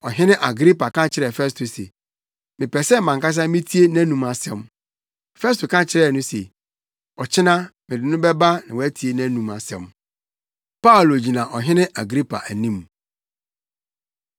Ɔhene Agripa ka kyerɛɛ Festo se, “Mepɛ sɛ mʼankasa mitie nʼanom asɛm.” Festo ka kyerɛɛ no se, “Ɔkyena mede no bɛba na woatie nʼanom asɛm.” Paulo Gyina Ɔhene Agripa Anim